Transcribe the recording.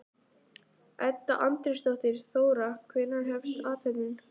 Edda Andrésdóttir: Þóra, hvenær hefst athöfnin?